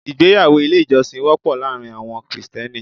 Ìgbéyàwó ilé ìjọsìn wọ́pọ̀ láàárín àwọn Krìsìtẹ́nì.